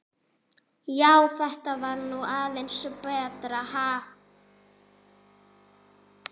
Já, þetta var nú aðeins betra, ha!